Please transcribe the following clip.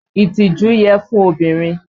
Ìtìjú yẹ fún obìnrin